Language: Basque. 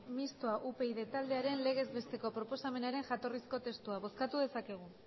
mistoa upyd taldearen legez besteko proposamenaren jatorrizko testua bozkatu dezakegu